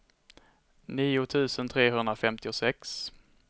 nio tusen trehundrafemtiosex